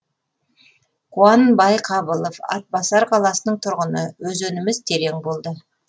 қуан байқабылов атбасар қаласының тұрғыны өзеніміз терең болды